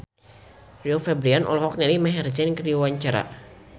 Rio Febrian olohok ningali Maher Zein keur diwawancara